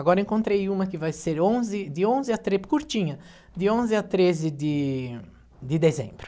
Agora encontrei uma que vai ser onze de onze a tre curtinha, de onze a treze de de dezembro.